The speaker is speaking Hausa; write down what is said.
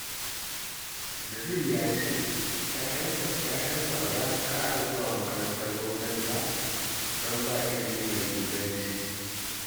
Nazir ya ce 'ya'yansa ba za su ƙara zuwa makarantar gwamnati ba, don ba ilimi mai inganci